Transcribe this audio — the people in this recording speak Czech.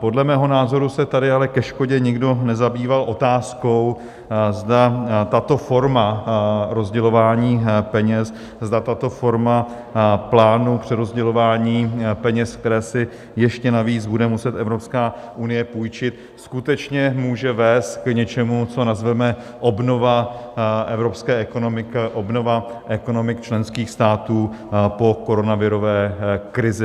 Podle mého názoru se tady ale ke škodě nikdo nezabýval otázkou, zda tato forma rozdělování peněz, zda tato forma plánu přerozdělování peněz, které si ještě navíc bude muset Evropská unie půjčit, skutečně může vést k něčemu, co nazveme obnova evropské ekonomiky a obnova ekonomik členských států po koronavirové krizi.